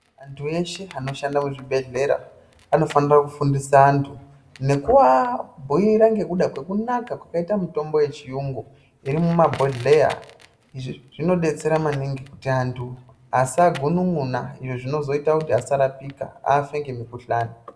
Antu eshe anoshande kuzvibedhlera anofanira kufundisa antu ngakuabhuira ngekuda kwekunaka kwakaite mitombo yechuyungu irimuma bhodhleya. Izvi zvinobetsera maningi kuti antu asagunun'una izvo zvinozoita kuti asarapika afe ngemukuhlani.